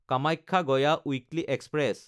Kamakhya Gaya weekly express